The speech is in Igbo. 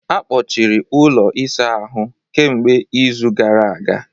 Akpọchiri ụlọ ịsa ahụ kemgbe izu gara aga